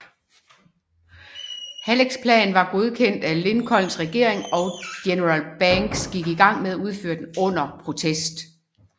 Hallecks plan var godkendt af Lincolns regering og general Banks gik i gang med at udføre den under protest